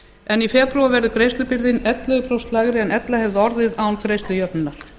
en í febrúar verður greiðslubyrðin ellefu prósent lægri en ella hefði orðið án greiðslujöfnunar